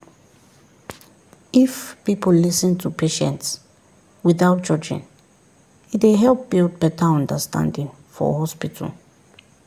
if people lis ten to patients without judging e dey help build better understanding for hospital